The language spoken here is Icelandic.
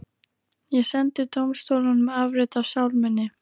Ég sendi dómstólunum afrit af sál minni.